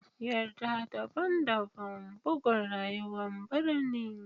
Yarda daban-daban bugun rayuwar birni.